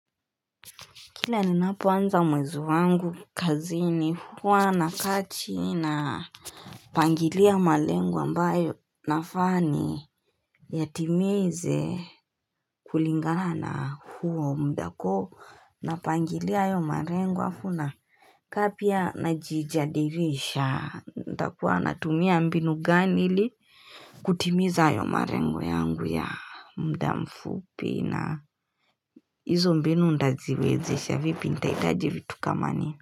Kila ninapoanza mwezi wangu kazi ni huwa nakachini napangilia malengo ambayo nafaa ni. Yatimeze kulingana na huo muda uko napangilia hayo malengo alafu na kapia najijadirisha. Nitakuwa natumia mbinu gani ili kutimiza hayo malengo yangu ya muda mfupi na hizo mbinu nitaziwezesha vipi? Nitahitaji vitu kama nini.